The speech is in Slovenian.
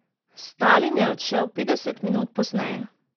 Stalin je odšel petdeset minut pozneje.